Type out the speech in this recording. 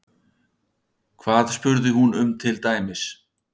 Hvað spurði hún um til dæmis?